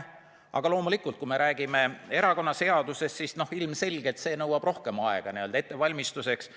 Aga loomulikult, kui me räägime erakonnaseadusest, siis ilmselgelt see nõuab rohkem aega ettevalmistuseks.